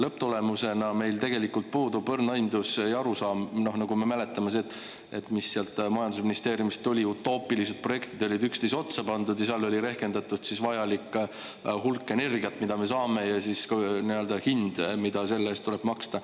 Lõpptulemusena meil tegelikult puudub õrn aimdus ja arusaam, noh, nagu me mäletame see, et mis sealt majandusministeeriumist tuli: utoopilised projektid olid üksteise otsa pandud ja seal oli rehkendatud vajalik hulk energiat, mida me saame, ja siis ka hind, mida selle eest tuleb maksta.